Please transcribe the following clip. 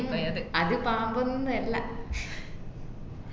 അത് പാമ്പൊന്ന്വല്ല